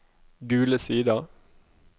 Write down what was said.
Gule Sider